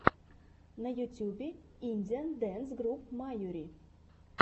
на ютубе индиан дэнс груп майури